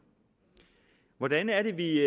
hvordan er det vi